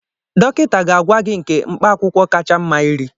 Dọkịta ga-agwa gị nke mkpaakwụkwọ kacha mma iri